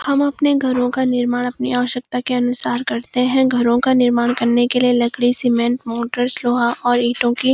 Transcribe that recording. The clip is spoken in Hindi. हम अपने घरों का निर्माण अपनी अवश्यकता के अनुसार करते है घरों का निर्माण करने के लिए लकड़ी सीमेंट मोटर्स लोहा और ईंटों की --